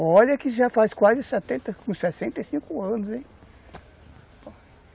Olha que já faz quase setenta... Uns sessenta e cinco anos, hein?